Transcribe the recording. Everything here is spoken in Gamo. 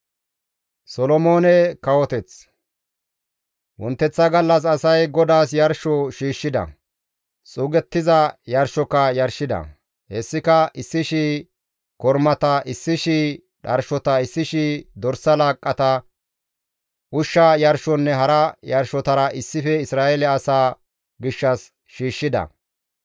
Wonteththa gallas asay GODAAS yarsho shiishshida; xuugettiza yarshoka yarshida; hessika 1,000 kormata, 1,000 dharshota, 1,000 dorsa laaqqata, ushsha yarshonne hara yarshotara issife Isra7eele asaa gishshas shiishshida.